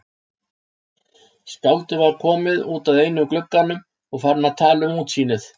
Skáldið var komið út að einum glugganum og farinn að tala um útsýnið.